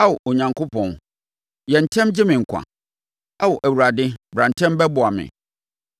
Ao Onyankopɔn, yɛ ntɛm gye me nkwa; Ao Awurade bra ntɛm bɛboa me.